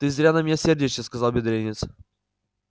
ты зря на меня сердишься сказал бедренец